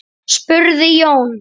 spurði Jón.